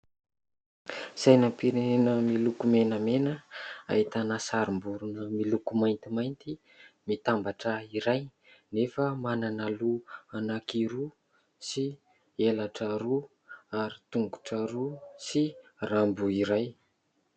Sainam-pirenena miloko menamena ahitana sarim-borona miloko maintimainty mitambatra iray nefa manana loha anankiroa sy elatra roa ary tongotra roa sy rambo iray.